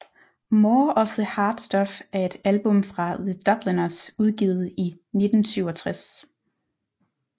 More of the Hard Stuff er et album fra The Dubliners udgivet i 1967